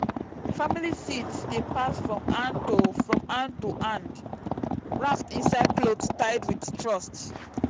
family seeds dey pass from hand to from hand to hand wrapped inside cloth tied with trust.